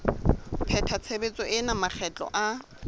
pheta tshebetso ena makgetlo a